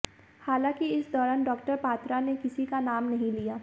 हालांकि इस दौरान डॉ पात्रा ने किसी का नाम नहीं लिया